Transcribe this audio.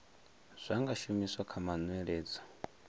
zwa nga shumiswa kha manweledzo